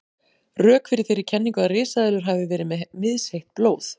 Rök fyrir þeirri kenningu að risaeðlur hafi verið með misheitt blóð.